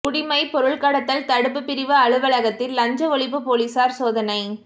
குடிமைப் பொருள் கடத்தல் தடுப்புப் பிரிவு அலுவலகத்தில் லஞ்ச ஒழிப்பு போலீஸாா் சோதனை